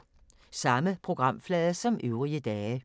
Samme programflade som øvrige dage